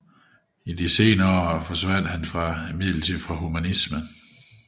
I sine senere år fjernede han sig imidlertid fra humanismen